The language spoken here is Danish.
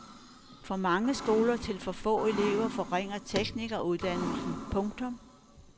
For mange skoler til for få elever forringer teknikeruddannelserne. punktum